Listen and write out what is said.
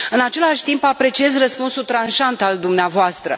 În același timp, apreciez răspunsul tranșant al dumneavoastră.